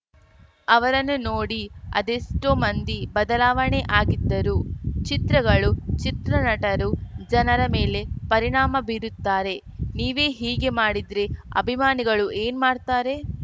ಅವರನ್ನು ನೋಡಿ ಅದೇಷ್ಟೋ ಮಂದಿ ಬದಲಾವಣೆ ಆಗಿದ್ದರು ಚಿತ್ರಗಳು ಚಿತ್ರನಟರು ಜನರ ಮೇಲೆ ಪರಿಣಾಮ ಬೀರುತ್ತಾರೆ ನೀವೇ ಹೀಗೆ ಮಾಡಿದ್ರೆ ಅಭಿಮಾನಿಗಳು ಏನ್‌ ಮಾಡ್ತಾರೆ